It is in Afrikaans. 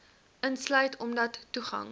insluit omdat toegang